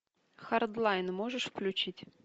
хардлайн можешь включить